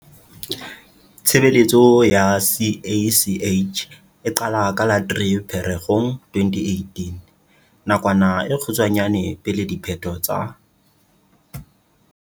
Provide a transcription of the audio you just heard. Tshebeletso ya CACH e qala ka la 3 Pherekgong 2018, nakwana e kgutshwanyane pele diphetho tsa.